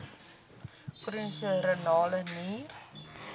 chroniese renale nier